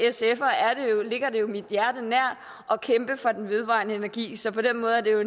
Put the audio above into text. ligger mit hjerte nær at kæmpe for den vedvarende energi så på den måde er